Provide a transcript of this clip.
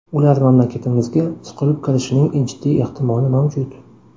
Ular mamlakatimizga suqilib kirishining jiddiy ehtimoli mavjud.